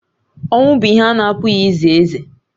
Ọnwụ bụ ihe a na-apụghị ize eze